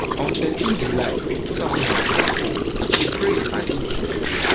on thirteen july two thousand and twenty-four she pray and eat soup